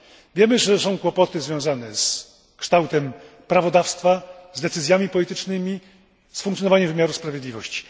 Wiemy, że istnieją kłopoty związane z kształtem prawodawstwa, decyzjami politycznymi, funkcjonowaniem wymiaru sprawiedliwości.